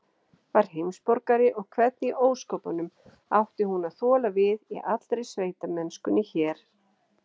Var heimsborgari, og hvernig í ósköpunum átti hún að þola við í allri sveitamennskunni hér?